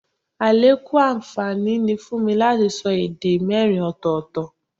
Àlékún àǹfààní ni fún mi láti lè sọ èdè mẹ́rin ọ̀tọ̀ọ̀tọ̀